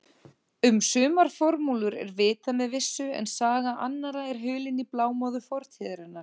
Um sumar formúlur er vitað með vissu en saga annarra er hulin í blámóðu fortíðarinnar.